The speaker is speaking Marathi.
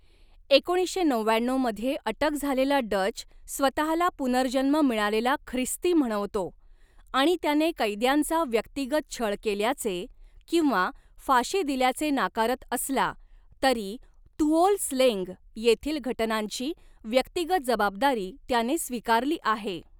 एकोणीसशे नवव्याण्णऊ मध्ये अटक झालेला डच स्वतहाला पुनर्जन्म मिळालेला ख्रिस्ती म्हणवतो आणि त्याने कैद्यांचा व्यक्तिगत छळ केल्याचे, किंवा फाशी दिल्याचे नाकारत असला, तरी तुओल स्लेंग येथील घटनांची व्यक्तिगत जबाबदारी त्याने स्वीकारली आहे.